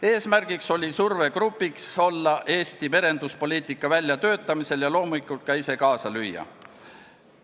Eesmärk oli olla survegrupiks Eesti merenduspoliitika väljatöötamisel ja loomulikult ka ise kaasa lüüa.